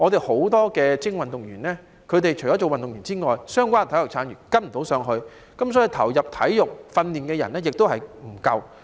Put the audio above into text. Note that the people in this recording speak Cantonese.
很多精英運動員只能做運動員，相關的體育產業未能跟上，所以投入體育訓練的人亦不足夠。